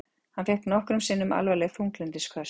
Hann fékk nokkrum sinnum alvarleg þunglyndisköst.